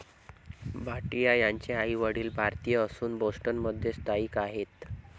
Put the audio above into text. भाटीया यांचे आईवडील भारतीय असून बोस्टन मध्ये स्थायिक आहेत.